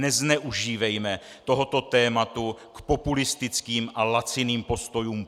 Nezneužívejme tohoto tématu k populistickým a laciným postojům.